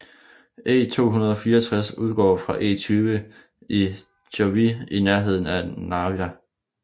E264 udgår fra E20 i Jõhvi i nærheden af Narva